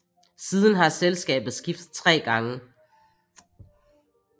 Siden har selskabet skiftet tre gange